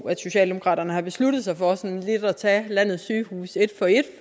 at socialdemokraterne har besluttet sig for at tage landets sygehuse et for et